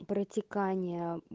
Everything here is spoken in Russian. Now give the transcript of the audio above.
протекание